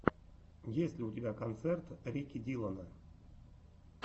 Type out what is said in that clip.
есть ли у тебя концерт рики диллона